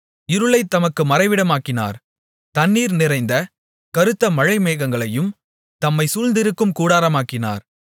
இருளைத் தமக்கு மறைவிடமாக்கினார் தண்ணீர் நிறைந்த கறுத்த மழைமேகங்களையும் தம்மை சூழ்ந்திருக்கும் கூடாரமாக்கினார்